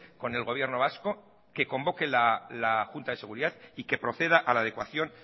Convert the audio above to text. con el gobierno vasco que convoque la junta de seguridad y que proceda a la adecuación